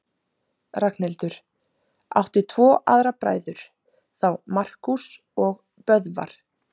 Ragnhildur átti tvo aðra bræður, þá Markús og Böðvar.